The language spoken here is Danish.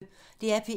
DR P1